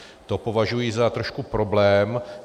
To považuji za trošku problém.